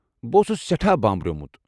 بہٕ اوسُس سیٹھاہ بامبریومٗت ۔